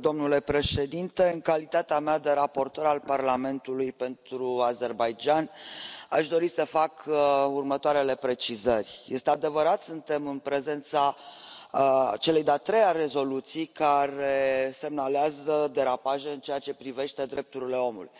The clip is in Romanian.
Domnule președinte, în calitatea mea de raportor al Parlamentului pentru Azerbaidjan, aș dori să fac următoarele precizări este adevărat, suntem în prezența celei de a treia rezoluții care semnalează derapaje în ceea ce privește drepturile omului,